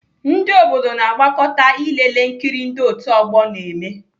Ndị obodo na-agbakọta ilelee nkiri ndị otu ọgbọ na-eme.